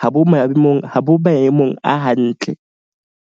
ha bo maemong a hantle.